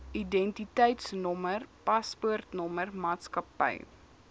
identiteitnommer paspoortnommer maatskappy